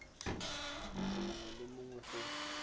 motho mongwe le mongwe go